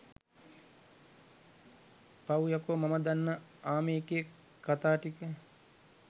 පව්යකෝ මම දන්න ආමි එකේ කතාටික